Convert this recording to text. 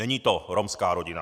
Není to romská rodina.